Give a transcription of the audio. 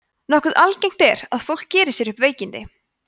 nokkuð algengt er að fólk geri sér upp veikindi